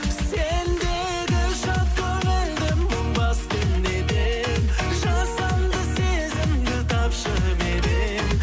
сендегі шат көңілді мұң басты неден жасанды сезімді тапшы меннен